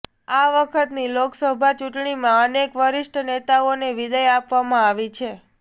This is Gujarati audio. આ વખતની લોકસભા ચૂંટણીમાં અનેક વરિષ્ઠ નેતાઓને વિદાય આપવામાં આવી છે